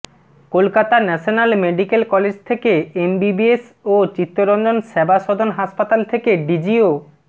Kolkata national medical college থেকে MBBS ও চিত্তরঞ্জন সেবা সদন হাসপাতাল থেকে ডিজিও